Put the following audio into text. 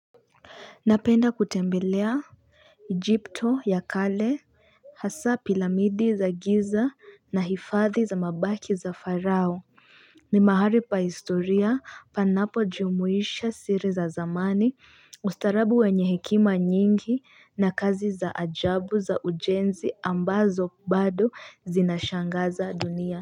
Napenda kutembelea Egypto ya kale hasa piramidi za giza na hifadhi za mabaki za farao ni mahali pa historia panapojumuisha siri za zamani, ustaarabu wenye hekima nyingi na kazi za ajabu za ujenzi ambazo bado zinashangaza dunia.